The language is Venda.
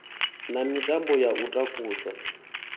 na mitambo ya u takusa